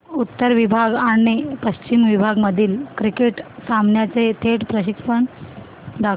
उत्तर विभाग आणि पश्चिम विभाग मधील क्रिकेट सामन्याचे थेट प्रक्षेपण दाखवा